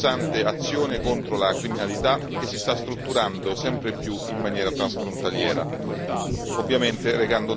coniugando questi temi con un'incessante azione contro la criminalità che si sta strutturando sempre più in maniera transfrontaliera.